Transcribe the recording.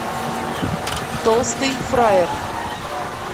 толстый фраер